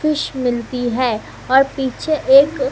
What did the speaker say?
fish मिलती है और पीछे एक--